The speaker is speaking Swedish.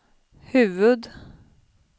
huvud-